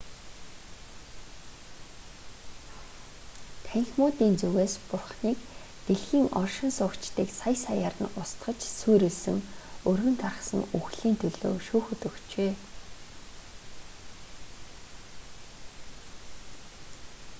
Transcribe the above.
танхимуудын зүгээс бурханыг дэлхийн оршин суугчдыг сая саяар нь устгаж сүйрүүлсэн өргөн тархсан үхэл"-ийн төлөө шүүхэд өгчээ